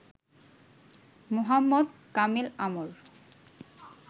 Mohammad Kamel Amr